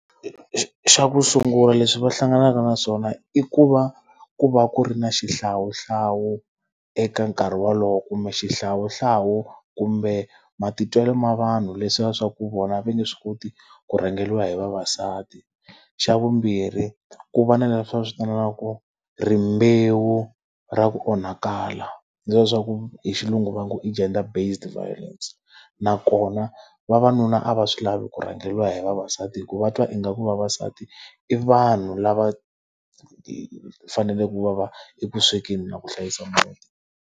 Xa ku sungula leswi va hlanganaka na swona i ku va ku va ku ri na xihlawuhlawu eka nkarhi wolowo kumbe xihlawuhlawu kumbe matitwelo ma vanhu leswiya swa ku vona va nge swi koti ku rhangeriwa hi vavasati. Xa vumbirhi ku va na leswiya va swi vitanaku ku rimbewu ra ku onhakala. Leswiya swa ku hi xilungu va ngo i gender based violence. Nakona vavanuna a va swi lavi ku rhangeriwa hi vavasati hikuva va twa ingaku vavasati, i vanhu lava fanele ku va va eku swekeni na ku hlayisa muti.